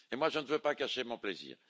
Je ne veux pas gâcher mon plaisir.